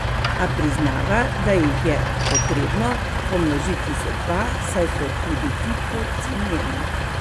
A priznava, da jih je potrebno pomnožiti z dva, saj so tudi ti podcenjeni.